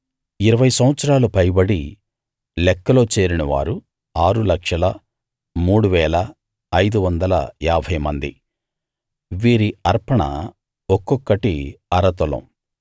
ఇరవై సంవత్సరాలు పైబడి లెక్కలో చేరినవారు 603550 మంది వీరి అర్పణ ఒక్కొక్కటి అర తులం